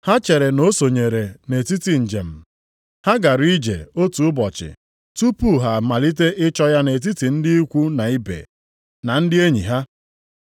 Ha chere na o sonyere nʼetiti njem. Ha gara ije otu ụbọchị tupu ha a malite ịchọ ya nʼetiti ndị ikwu na ibe, na ndị enyi ha.